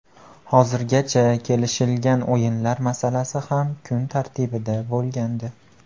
Hozirgacha kelishilgan o‘yinlar masalasi ham kun tartibida bo‘lgandi.